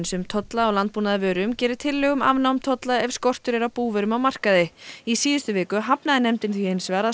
um tolla á landbúnaðarvörum gera tillögu um afnám tolla ef skortur er á búvörum á markaði í síðustu viku hafnaði nefndin hins vegar að